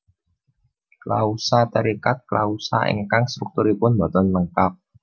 Klausa terikat klausa ingkang strukturipun boten lengkap